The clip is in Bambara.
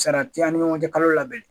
Sara tɛ ani ɲɔgɔncɛ kalo la belɛn.